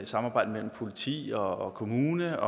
samarbejdet mellem politi og kommune